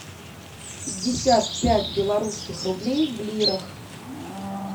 пятьдесят пять белорусских рублей в лирах